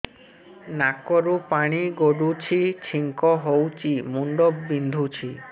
ନାକରୁ ପାଣି ଗଡୁଛି ଛିଙ୍କ ହଉଚି ମୁଣ୍ଡ ବିନ୍ଧୁଛି